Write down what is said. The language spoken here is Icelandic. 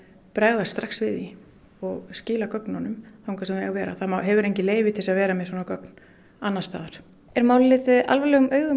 bregðast strax við því og skila gögnunum þar sem þau eiga að vera það hefur enginn leyfi til að vera með svona gögn annars staðar er málið litið alvarlegum augum